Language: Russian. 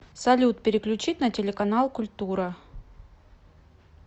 салют переключить на телеканал культура